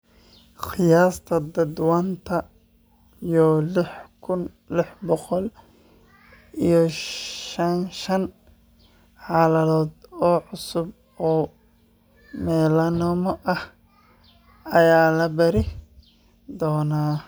Qiyaastii tadhawatan yo liix kun ,liix boqol iyo sagashaan xaaladood oo cusub oo melanoma ah ayaa la baari doonaa.